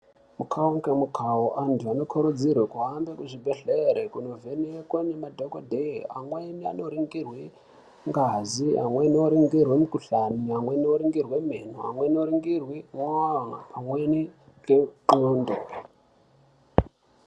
Mukhawo ngemukwawo antu anokurudzirwe kuhambe kuzvibhedhlere kunovhenekwe ngemadhokodheya. Amweni anoringirwe ngazi, amweni oringirwe mukhuhlani, amweni oringirwe meno, amweni oringirwe mwoyo, pamweni ndxondo.